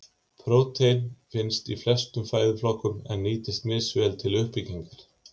Prótein finnst í flestum fæðuflokkum en nýtist misvel til uppbyggingar.